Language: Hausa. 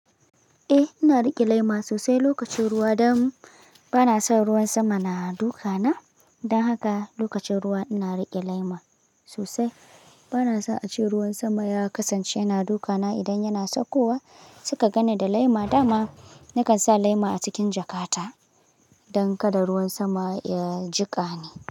Eh, ina riƙe laima sosai lokacin ruwa, don bana son ruwan sama na duka na. Don haka lokacin ruwa ina riƙe laima sosai. Bana son ace ruwan sama ya kasance yana duka na idan yana saukowa. Suka ganni da laima, dama nakan sa laima a cikin jakata don kada ruwan sama ya jiƙani.